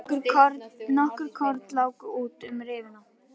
Nokkur korn láku út um rifuna.